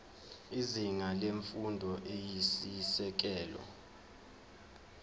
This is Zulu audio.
izinga lemfundo eyisisekelo